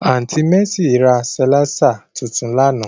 Aunti Mercy ra silạisa tuntun làná.